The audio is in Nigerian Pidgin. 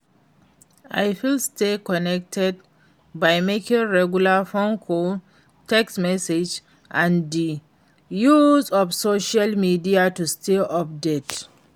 i fit stay connected by making regular phone calls, text messages and di use of social media to stay updated.